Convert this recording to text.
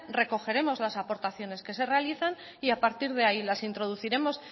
recogeremos las aportaciones que se realicen y a partir de ahí las introduciremos